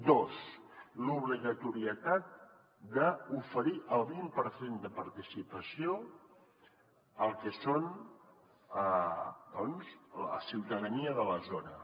dos l’obligatorietat d’oferir el vint per cent de participació al que és doncs la ciutadania de la zona